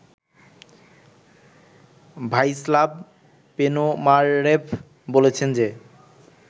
Vyacheslav Ponomarev বলেছেন যে